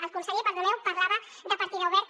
el conseller perdoneu parlava de partida oberta